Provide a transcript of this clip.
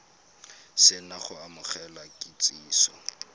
se na go amogela kitsiso